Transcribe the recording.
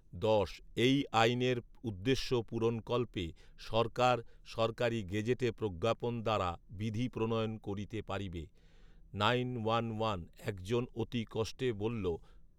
দশ। এই আইনের উদ্দেশ্য পূরণকল্পে, সরকার সরকারী গেজেটে প্রজ্ঞাপন দ্বারা বিধি প্রণয়ন করিতে পারিবে। নাইন ওয়ান ওয়ান, একজন অতি কষ্টে বলল